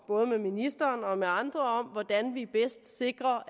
både med ministeren og med andre om hvordan vi bedst sikrer